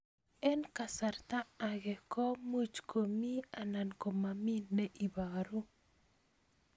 Eng' kasarta ag'e ko much ko mii anan komamii ne ibaru